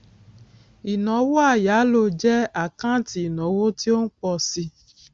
ìnáwó àyálò jẹ àkáǹtì ìnáwó tí ó ń pọ síi